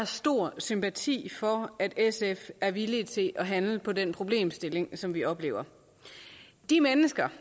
stor sympati for at sf er villige til at handle på den problemstilling som vi oplever de mennesker